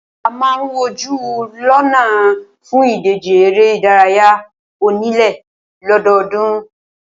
A máà ń wojú lọ́nà fún ìdíje eré ìdárayá onílé lọ́dọọ́dún.